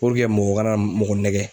mɔgɔ kana mɔgɔ nɛgɛn.